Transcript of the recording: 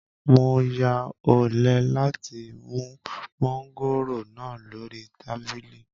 Mo ya ọ̀lẹ láti mú mọ́ngòrònáà lórí tábìlì